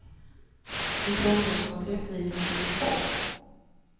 En påminnelse om att rättvisan sitter trångt.